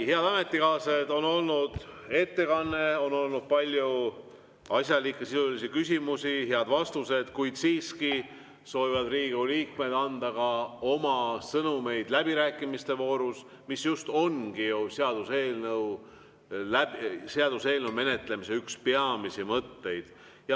Head ametikaaslased, on olnud ettekanne, on olnud palju asjalikke, sisulisi küsimusi, head vastused, kuid siiski soovivad Riigikogu liikmed anda ka läbirääkimiste voorus oma sõnumeid, mis ongi ju seaduseelnõu menetlemise üks peamisi mõtteid.